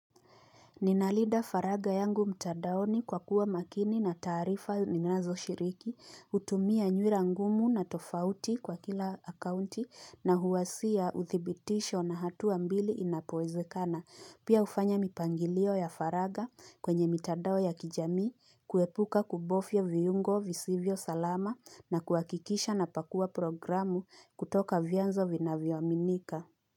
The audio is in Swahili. Ninalinda faraga yangu mtadaoni kwa kuwa makini na tarifa ninazo shiriki, utumia nywira ngumu na tofauti kwa kila akaunti na huwasia uthibitisho na hatu ambili inapoezekana, pia ufanya mipangilio ya faraga kwenye mtadao ya kijami, kuepuka kubofya viungo visivyo salama na kuakikisha na pakua programu kutoka vyanzo vinaviyoaminika.